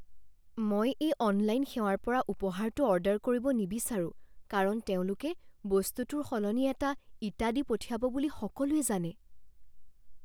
মই এই অনলাইন সেৱাৰ পৰা উপহাৰটো অৰ্ডাৰ কৰিব নিবিচাৰোঁ কাৰণ তেওঁলোকে বস্তুটোৰ সলনি এটা ইটা দি পঠিয়াই বুলি সকলোৱে জানে।